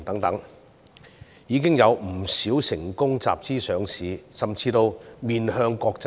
現在已有不少企業成功集資上市甚至面向國際。